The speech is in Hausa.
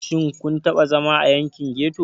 Shin kun taɓa zama a yankin ghetto?